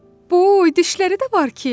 "Boy, dişləri də var ki!"